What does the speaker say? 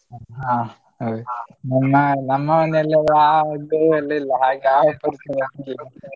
ಹ ಹ ನಮ್ಮ ಮನೇಲೂ ಗೋ ಎಲ್ಲ ಇಲ್ಲ ಹಾಗೆ .